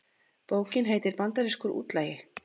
Bókin heitir Bandarískur útlagi